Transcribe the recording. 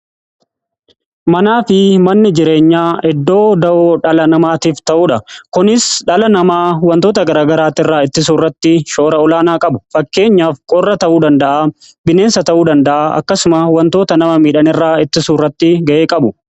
Manaa fi manni jireenya iddoo da'oo dhala namaatiif ta'uudha. Kunis dhala namaa wantoota garagaraati irraa ittisuurratti shoora olaanaa qabu. Fakkeenyaaf qorra ta'uu danda'a, bineensa ta'uu danda'a, akkasuma wantoota nama miidhanirraa ittisuurratti ga'ee qabu.